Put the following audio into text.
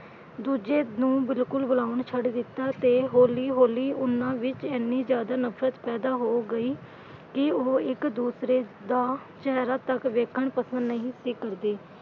ਦੂਜੇ ਨੂੰ ਬਿਲਕੁੱਲ ਬੁਲਾਉਣ ਛੱਡ ਦਿੱਤਾ ਤੇ ਹੌਲੀ ਹੌਲੀ ਉਨ੍ਹਾਂ ਵਿਚ ਐਨੀ ਜਿਆਦਾ ਨਫ਼ਰਤ ਪੈਦਾ ਹੋ ਗਈ ਕਿ ਉਹ ਇੱਕ ਦੂਸਰੇ ਦਾ ਚਿਹਰਾ ਤੱਕ ਵੇਖਣ ਪਸੰਦ ਨਹੀਂ ਸੀ ਕਰਦੇ।